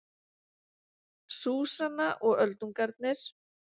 Súsanna og öldungarnir